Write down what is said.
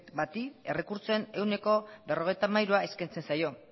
bati errekurtsoen ehuneko berrogeita hamairu eskaintzen zaio